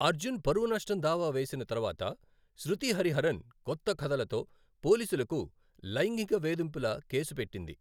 అర్జున్ పరువు నష్టం దావా వేసిన తర్వాత శృతి హరిహరన్ కొత్త కథలతో పోలీసులకు లైంగిక వేధింపుల కేసు పెట్టింది.